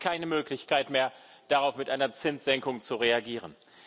Sie haben keine Möglichkeit mehr, darauf mit einer Zinssenkung zu reagieren.